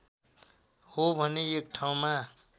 हो भने एक ठाउँमा